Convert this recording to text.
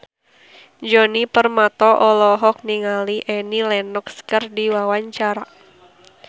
Djoni Permato olohok ningali Annie Lenox keur diwawancara